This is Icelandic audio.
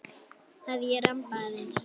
Að ég ramba aðeins.